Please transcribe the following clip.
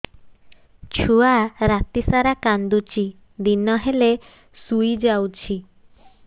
ଛୁଆ ରାତି ସାରା କାନ୍ଦୁଚି ଦିନ ହେଲେ ଶୁଇଯାଉଛି